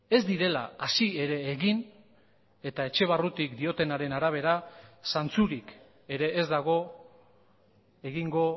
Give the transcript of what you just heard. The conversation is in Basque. ez direla hasi ere egin eta etxe barrutik diotenaren arabera zantzurik ere ez dago egingo